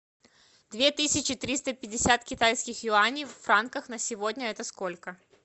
две тысячи триста пятьдесят китайских юаней в франках на сегодня это сколько